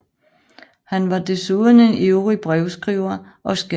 Han var desuden en ivrig brevskriver og skattede denne udveksling højt